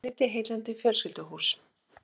Innlit í heillandi fjölskylduhús